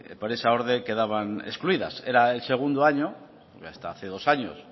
por esa orden quedaban excluidas era el segundo año hasta hace dos años